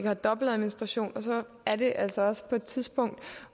have dobbeltadministration og så er det altså også på et tidspunkt